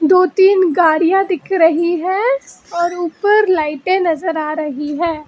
दो तीन गाड़ियां दिख रही हैं और ऊपर लाइटे नजर आ रही हैं।